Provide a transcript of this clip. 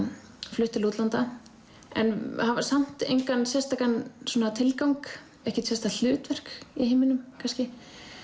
flutt til útlanda en hafa samt engan sérstakan tilgang ekkert sérstakt hlutverk í heiminum kannski